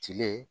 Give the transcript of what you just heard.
Cilen